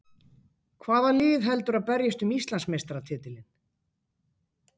Hvaða lið heldurðu að berjist um Íslandsmeistaratitilinn?